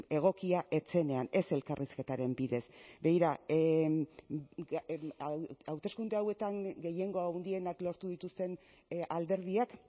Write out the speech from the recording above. egokia ez zenean ez elkarrizketaren bidez begira hauteskunde hauetan gehiengo handienak lortu dituzten alderdiak